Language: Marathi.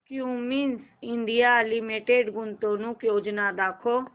क्युमिंस इंडिया लिमिटेड गुंतवणूक योजना दाखव